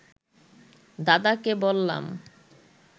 দাদাকে বললাম